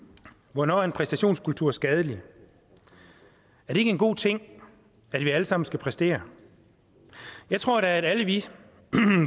hvornår er en præstationskultur skadelig er det ikke en god ting at vi allesammen skal præstere jeg tror da at alle vi